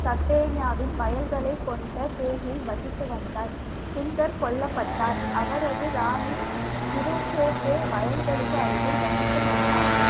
சட்டேனியாவின் வயல்களைக் கொண்ட தேகில் வசித்து வந்தார் சுந்தர் கொல்லப்பட்டார் அவரது ராணி திரு கே கே வயல்களுக்கு அருகில் வசித்து வந்தார்